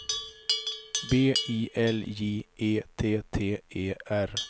B I L J E T T E R